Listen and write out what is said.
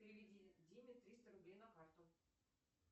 переведи диме триста рублей на карту